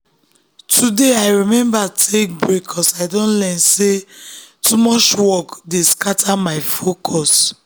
today i remember take break ‘cause i don learn say too much work dey scatter my focus.